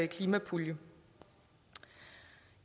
klimapuljen